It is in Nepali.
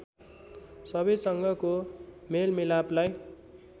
सबैसँगको मेलमिलापलाई